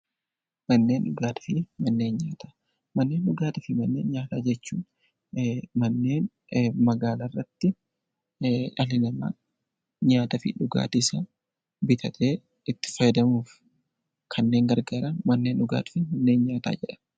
Manneen dhugaatii fi manneen nyaataa. Manneen dhugaatii fi manneen nyaataa jechuun manneen dhalli namaa magaalarrattii dhalli namaa nyaataa fi dhugaatiisaa bitatee itti fayyadamuuf kanneen gargaaran manneen dhugaatii fi manneen nyaataa jedhama.